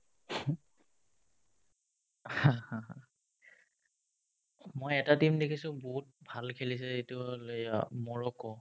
মই এটা team দেখিছো বহুত ভাল খেলিছে সেইটো হ'ল এ অ মৰক্কো